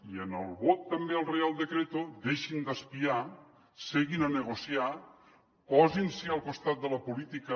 i en el vot també al reial decreto deixin d’espiar seguin a negociar posin se al costat de la política